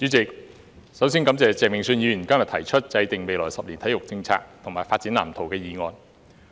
主席，首先感謝鄭泳舜議員今日提出"制訂未來十年體育政策及發展藍圖"的議案。